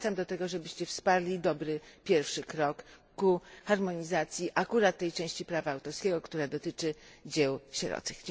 Zachęcam do tego, byście wsparli dobry pierwszy krok ku harmonizacji akurat tej części prawa autorskiego, która dotyczy dzieł sierocych.